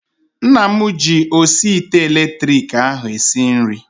Nne m ji osi ite elektriki ahu esi nri